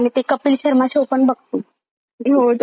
हो तो पण चांगलाय कपिल शर्मा.